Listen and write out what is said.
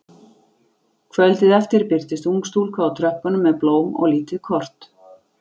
Kvöldið eftir birtist ung stúlka á tröppunum með blóm og lítið kort.